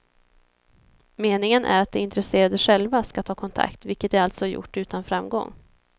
Meningen är att de intresserade själva ska ta kontakt, vilket de alltså gjort utan framgång.